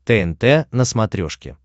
тнт на смотрешке